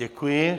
Děkuji.